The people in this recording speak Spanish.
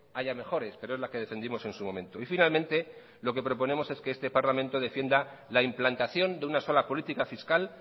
haya mejores pero es la que defendimos en su momento y finalmente lo que proponemos es que este parlamento defienda la implantación de una sola política fiscal